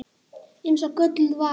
Eins og gölluð vara.